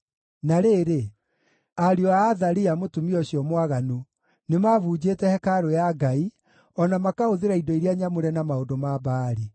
Na rĩrĩ, ariũ a Athalia, mũtumia ũcio mwaganu, nĩ mabunjĩte hekarũ ya Ngai, o na makahũthĩra indo iria nyamũre na maũndũ ma Baali.